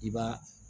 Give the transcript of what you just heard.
I b'a